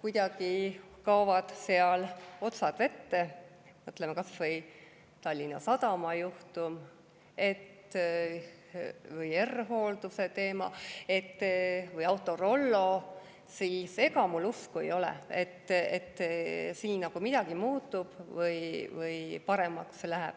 kuidagi kaovad otsad vette – mõtleme kas või Tallinna Sadama juhtumile või R-Hoolduse teemale või Autorollole –, siis millegipärast mul usku ei ole, et siin midagi muutub või paremaks läheb.